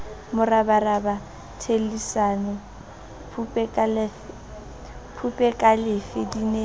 morabaraba thellisane phupekalefe di ne